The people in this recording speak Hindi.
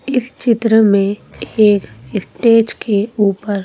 इस चित्र में एक स्टेज के ऊपर--